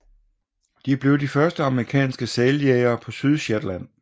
De blev de første amerikanske sæljægere på Sydshetland